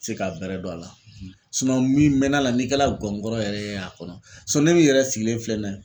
Se ka bɛrɛ dɔn a la min bɛ n'a la n'i kɛ la gɔngɔrɔ yɛrɛ a kɔnɔ ne min yɛrɛ sigilen filɛ nin ye.